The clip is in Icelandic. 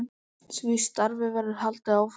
Því starfi verður haldið áfram.